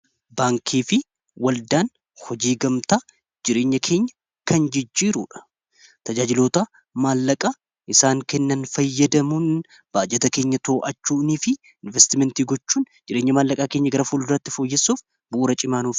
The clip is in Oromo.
baankii fi waldaan hojii gamtaa jireenya keenya kan jijjiiruudha tajaajilota maallaqaa isaan kennan fayyadamuun baajata keenya too, achuunii fi investimentii gochuun jireenya maallaqaa keenya gara fuul duratti fooyyessuuf bu'uura cimaanuufe